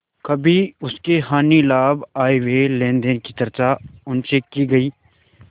कभी उसके हानिलाभ आयव्यय लेनदेन की चर्चा उनसे की गयी